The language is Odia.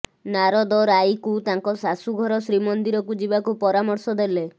ନାରଦ ରାଈକୁ ତାଙ୍କ ଶାଶୁଘର ଶ୍ରୀମନ୍ଦିରକୁ ଯିବାକୁ ପରାମର୍ଶ ଦେଲେ